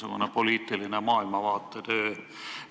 No näiteks poliitiliseks maailmavaate kujundamiseks.